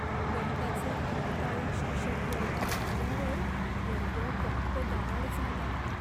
गणिताचे भीतीदायक शिक्षक वर्गात आल्यावर वर्ग गप्पगार झाला.